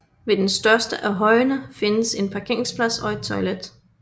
Ved den største af højene findes en parkeringsplads og et toilet